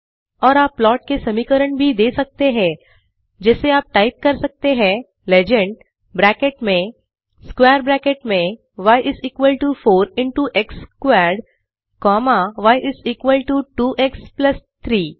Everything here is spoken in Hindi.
और आप प्लाट के समीकरण भी दे सकते हैं जैसे आप टाइप कर सकते हैं लेजेंड ब्रॅकेट में स्क्वेर ब्रॅकेट में y 4 into x squared comma y is equal to two x plus 3